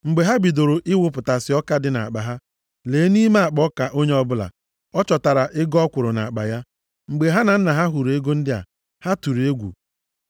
Mgbe ha bidoro ịwụpụtasị ọka dị nʼakpa ha, lee, nʼime akpa ọka onye ọbụla, a chọtara ego ọ kwụrụ nʼakpa ya. Mgbe ha na nna ha hụrụ ego ndị a, ha tụrụ egwu.